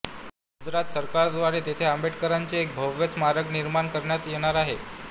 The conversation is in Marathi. गुजरात सरकारद्वारे तेथे आंबेडकरांचे एक भव्य स्मारक निर्माण करण्यात येणार आहे